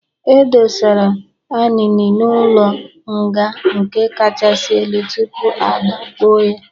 E dosara Anini n'ụlọ nga nke kachasị elu tupu agbagbo ya.